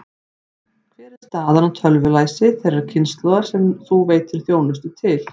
Hver er staðan á tölvulæsi þeirrar kynslóðar sem þú veitir þjónustu til?